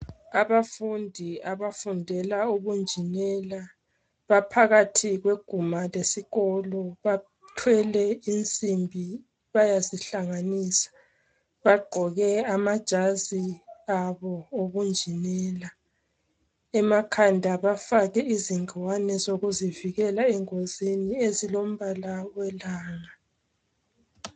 Abafundi abafundela ubunjinela baphakathi kwegumbi lesikolo bathwele insimbi bayazihlanganisa bagqoke amajazi abo obunjinela emakhada bafake ingwane lokuzivikela engozini ezilombala welanga